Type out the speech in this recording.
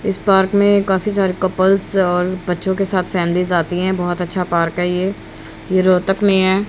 इस पार्क में काफी सारे कपल्स और बच्चो के साथ फैमिली आती है बहोत अच्छा पार्क है ये ये रोहतक मे है।